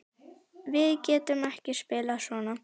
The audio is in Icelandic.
Við getum ekki spilað svona.